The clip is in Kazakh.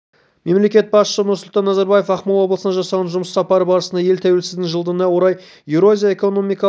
мемлекет басшысы нұрсұлтан назарбаев ақмола облысына жасаған жұмыс сапары барысында ел тәуелсіздігінің жылдығына орай еуразия экономикалық